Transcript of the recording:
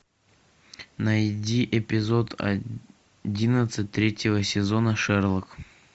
найди эпизод одиннадцать третьего сезона шерлока